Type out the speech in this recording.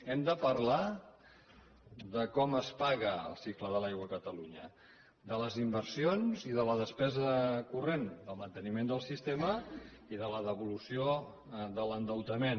hem de parlar de com es paga el cicle de l’aigua a catalunya de les inversions i de la depesa corrent del manteniment del sistema i de la devolució de l’endeutament